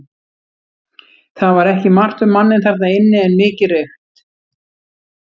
Það var ekki margt um manninn þarna inni en mikið reykt.